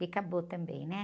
Que acabou também, né?